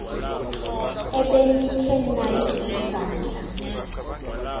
ebenikhe nayithi vandla